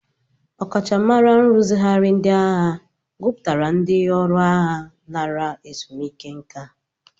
Ọkachamara nrụzigharị ndị agha gụpụtara ndị ọrụ agha lara ezumike nka.